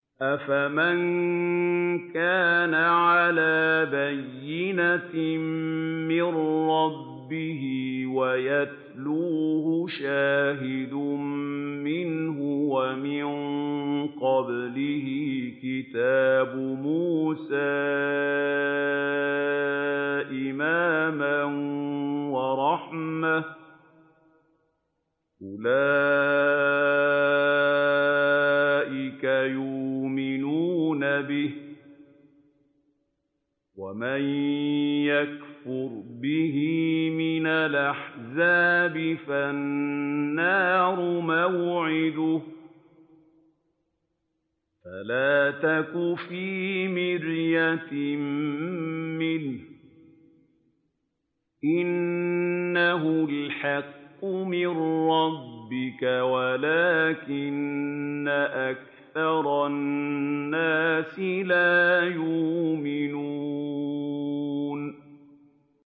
أَفَمَن كَانَ عَلَىٰ بَيِّنَةٍ مِّن رَّبِّهِ وَيَتْلُوهُ شَاهِدٌ مِّنْهُ وَمِن قَبْلِهِ كِتَابُ مُوسَىٰ إِمَامًا وَرَحْمَةً ۚ أُولَٰئِكَ يُؤْمِنُونَ بِهِ ۚ وَمَن يَكْفُرْ بِهِ مِنَ الْأَحْزَابِ فَالنَّارُ مَوْعِدُهُ ۚ فَلَا تَكُ فِي مِرْيَةٍ مِّنْهُ ۚ إِنَّهُ الْحَقُّ مِن رَّبِّكَ وَلَٰكِنَّ أَكْثَرَ النَّاسِ لَا يُؤْمِنُونَ